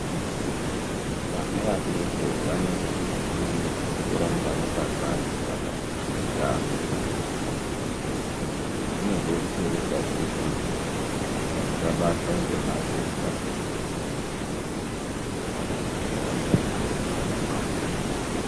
Vana vadoko vanosise kuramba vakangwarirwa pane zveutano izvi zvinodetsera pakuti vasabatwa ngematenda zvirinyore ngekuti vadoko vanokasire kubatwa ngematenda.